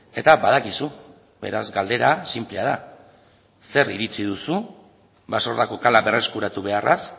eta badakizu beraz galdera sinplea da ze iritzi duzu basordako kala berreskuratu beharraz